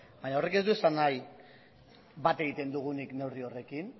baina horrek ez du esan nahi bat egiten dugunik neurri horrekin